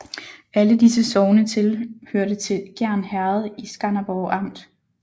Alle disse sogne hørte til Gjern Herred i Skanderborg Amt